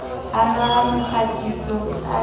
hanwa ha mokgatiso a sa